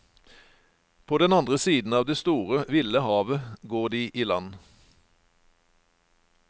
På den andre siden av det store, ville havet, går de i land.